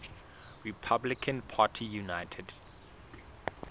republican party united